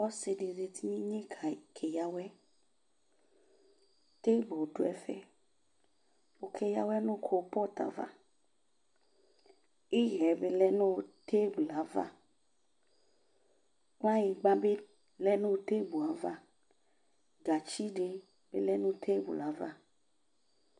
Ɔsi di zati ninye kayi, keya awɛ Teiblu dʋ ɛfɛ Okeya awɛ nʋ kolʋpɔtʋ ava Iɣɛ bi lɛnʋ teiblu yɛ ava Kplanyigba bi lɛ nʋ teiblu yɛ ava Gatsi di lɛ nʋ teiblu yɛ ava